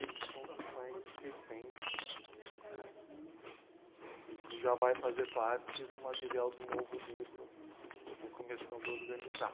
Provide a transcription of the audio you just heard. Esse foi um dos mais recentes, né? E que já vai fazer parte do material do novo livro, eu estou começando a organizar.